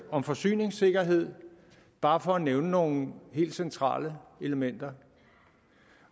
om forsyningssikkerhed bare for at nævne nogle helt centrale elementer